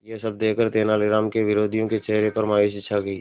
यह सब देखकर तेनालीराम के विरोधियों के चेहरे पर मायूसी छा गई